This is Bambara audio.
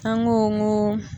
An go go